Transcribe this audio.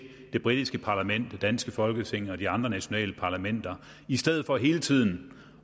det britiske parlament det danske folketing og de andre nationale parlamenter i stedet for hele tiden